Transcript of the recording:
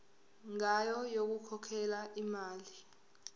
ngayo yokukhokhela imali